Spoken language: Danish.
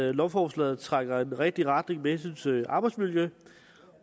at lovforslaget trækker i den rigtige retning med hensyn til arbejdsmiljø